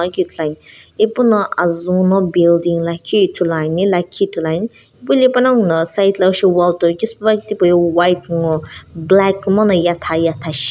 puakeu ithuluan ipuno azuu no building lakhi ithuluani lakhi ithuluan pu hile panongu no side lo ishi wall toi keu supepuakeu white ngo black kuma no yetha yetha shi-